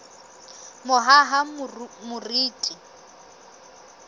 mohahamoriti